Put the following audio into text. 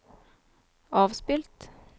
avspilt